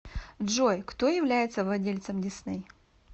джой кто является владельцем дисней